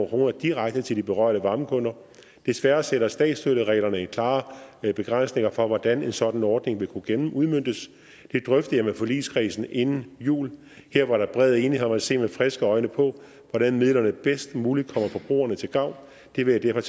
kroner direkte til de berørte varmekunder desværre sætter statsstøttereglerne klare begrænsninger for hvordan en sådan ordning vil kunne udmøntes det drøftede jeg med forligskredsen inden jul her var der bred enighed om at se med friske øjne på hvordan midlerne bedst muligt kommer forbrugerne til gavn det vil jeg